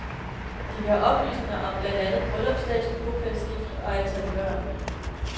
De vil have oplysninger om blandt andet bryllupsdato, bopælsskift og antal børn.